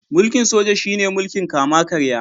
Mulkin Soja shi ne mulkin kama karya.